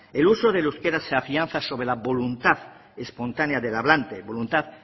el uso del euskara se afianza sobre la voluntad espontánea del hablante voluntad